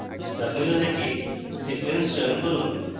সাবmenu থেকে sequence চয়ন করুন